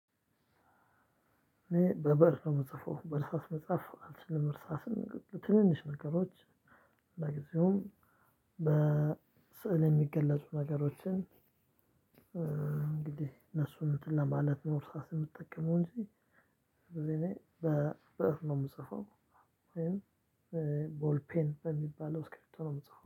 እኔ በበእር ነው የምጽፈው በእርሳስ መጽሐፍ አልችልም እርሳስን ትንንሽ ነገሮች ለጊዜውም በስዕል የሚገለጹ ነገሮችን። እንሱን እንትን ለማለት ነው እርሳስ የምጠቀመው እንጂ ብዙ ጊዜ በብእር ነው የምጽፈው። ቦል ፔን በሚባለው እስኪብርቶ ነው የምጽፈው